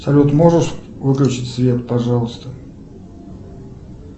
салют можешь выключить свет пожалуйста